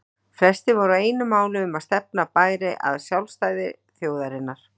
Flestir voru á einu máli um að stefna bæri að sjálfstæði þjóðarinnar.